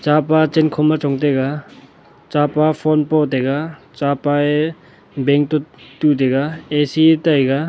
chapa chenkho ma chong taiga chapa phone po taiga chapa e bank to tu taiga A_C taiga.